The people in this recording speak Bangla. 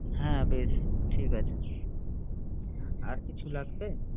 হ্যাঁ! পেয়েছি ঠিক আছে। আর কিছু লাগবে?